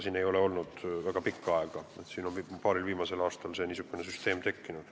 Seda ei ole olnud väga pikka aega, paaril viimasel aastal on niisugune süsteem tekkinud.